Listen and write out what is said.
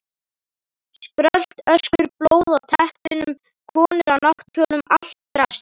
Skrölt, öskur, blóð á teppunum, konur á náttkjólum, allt draslið.